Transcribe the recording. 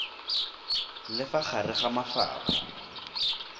le fa gare ga mafapha